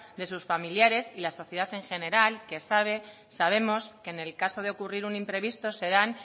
de sus familiares y la sociedad en general que sabemos que en el caso de ocurrir un imprevistas serán